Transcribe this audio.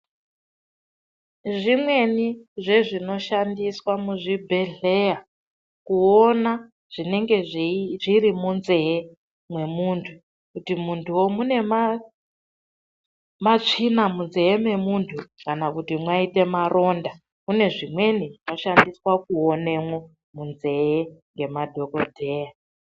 Zvimweni zvezvinoshandiswa muzvibhedhlera kuona zvinenge zvimunzee nwemuntu kuti muntuwo mune matsvina munzee memuntu kana kuti mwaita maronda munezvimweni zvinoshandiswa kuonemwo munzee nemadhokodheya .